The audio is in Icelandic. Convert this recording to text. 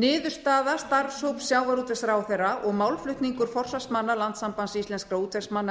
niðurstaða starfshóps sjávarútvegsráðherra og málflutningur forsvarsmanna landssambands íslenskra útvegsmanna